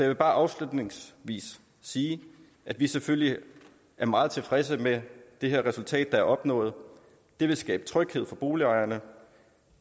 vil bare afslutningsvis sige at vi selvfølgelig er meget tilfredse med det her resultat der er opnået det vil skabe tryghed for boligejerne